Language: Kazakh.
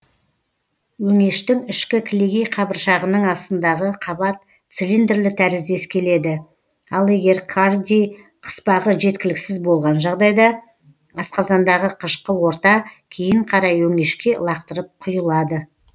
өңештің ішкі кілегей қабыршығының астындағы қабат цилиндрлі тәріздес келеді ал егер кардий қыспағы жеткіліксіз болған жағдайда асқазандағы қышқыл орта кейін қарай өңешке лақтырып құйылады